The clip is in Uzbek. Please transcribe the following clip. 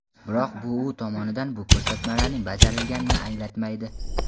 Biroq, bu u tomonidan bu ko‘rsatmalarining bajarilganini anglatmaydi.